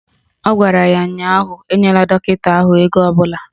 Ọ gwara ya ụnyaahụ "Enyela dọkịta ahụ ego ọbụla"!